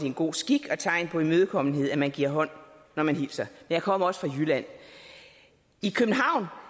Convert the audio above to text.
en god skik og tegn på imødekommenhed at man giver hånd når man hilser jeg kommer også fra jylland i københavn har